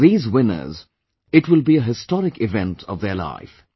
For these winners, it will be a historic event of their life